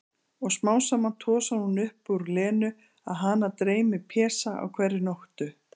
Og smám saman tosar hún upp úr Lenu að hana dreymi Pésa á hverri nóttu.